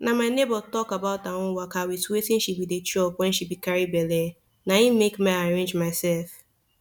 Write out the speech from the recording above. na my neighbor talk about her own waka wit wetin she be dey chop wen she be carry belle na make ma arrange myself